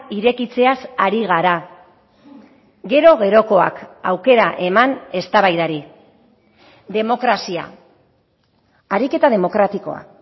irekitzeaz ari gara gero gerokoak aukera eman eztabaidari demokrazia ariketa demokratikoa